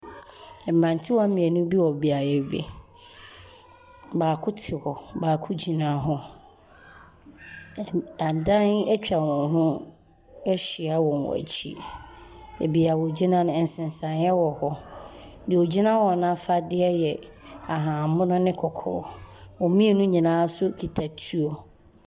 Mmerantewaa mmienu bi wɔ beaeɛ bi. Baako te hɔ. Baako gyina hɔ. Ihu . Adan atwan hɔn ho ahyia wɔ wɔn akyi. Baabi a wɔgyina no, nsesaneɛ wɔ hɔ. Deɛ ɔgyina hɔ no afadeɛ yɛn ahahammono ne kɔkɔɔ. Wɔn mmienu nyinaa nso kita tuo.